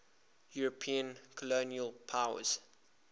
european colonial powers